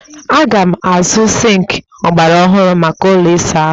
Aga m azụ sịnkị ọgbaraọhụrụ maka ụlọ ịsa ahụ m